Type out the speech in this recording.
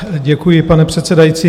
Děkuji, pane předsedající.